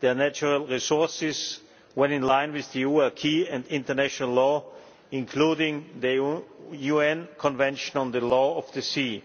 their natural resources when in line with the EU acquis and international law, including the UN Convention on the Law of the Sea.